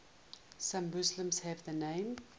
some muslims leave the name